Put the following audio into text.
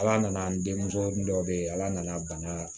Ala nana an denmuso dɔ be yen ala nana bana